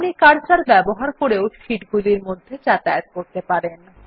আপনি কার্সার ব্যবহার করেও শীট গুলির মধ্যে যাতায়াত করতে পারেন